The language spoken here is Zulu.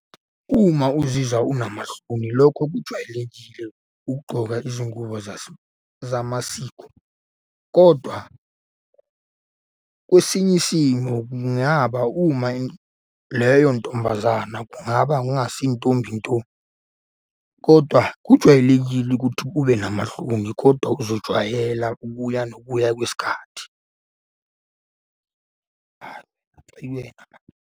Uma uzizwa unamahloni, lokho kujwayelekile ukugqoka izingubo zamasiko, kodwa kwesinye isimo kungaba uma leyo ntombazana kungaba ngongasiyo intombi nto, kodwa kujwayelekile ukuthi ube namahloni kodwa uzojwayela ukuya nokubuya kwesikhathi.